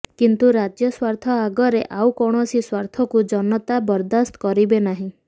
କିନ୍ତୁ ରାଜ୍ୟ ସ୍ୱାର୍ଥ ଆଗରେ ଆଉ କୌଣସି ସ୍ୱାର୍ଥକୁ ଜନତା ବରଦାସ୍ତ କରିବେ ନାହିଁ